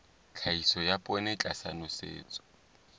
tlhahiso ya poone tlasa nosetso